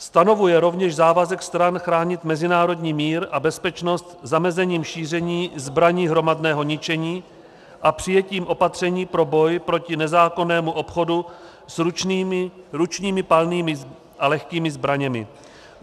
Stanovuje rovněž závazek stran chránit mezinárodní mír a bezpečnost zamezením šíření zbraní hromadného ničení a přijetím opatření pro boj proti nezákonnému obchodu s ručními, palnými a lehkými zbraněmi.